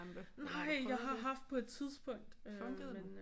Nej jeg har haft på et tidspunkt men øh